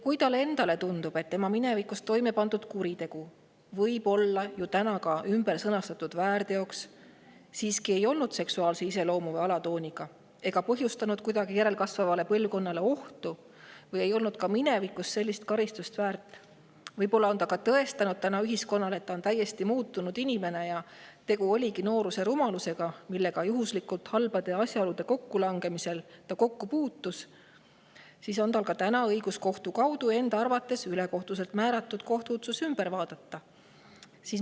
Kui talle tundub, et tema minevikus toimepandud kuritegu, mis võib olla ümber sõnastatud väärteoks, siiski ei olnud seksuaalse iseloomu või alatooniga ega järelkasvavale põlvkonnale kuidagi ohtu või see ei olnud minevikus sellist karistust väärt, või kui ta on tõestanud ühiskonnale, et on tänaseks täiesti muutunud inimene ja tegu oligi noorusaegse rumalusega, millega ta halbade asjaolude kokkulangemisel juhuslikult kokku puutus, siis on tal täna õigus tema arvates ülekohtuselt määratud kohtuotsus kohtu kaudu ümber vaadata.